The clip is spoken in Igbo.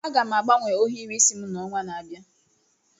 Aga m agbanwe ohiri isi m n'ọnwa na-abịa.